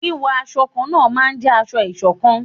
Wíwọ awọ kánna náà n jẹ aṣọ-isokan